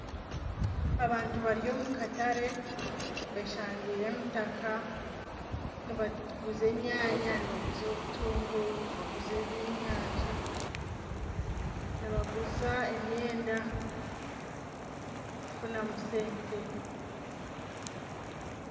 Abantu bari omukatare beshangiire emitaka nibaguza enyanya nibaguza obutunguru nibaguza ebyenyanja nibaguza emyenda kufunamu sente